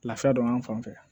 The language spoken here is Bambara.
Lafiya dɔn an fan fɛ